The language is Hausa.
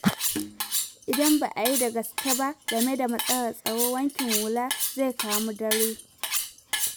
Idan ba a yi da gaske ba game da matsalar tsaro, wankin hula zai kai mu dare.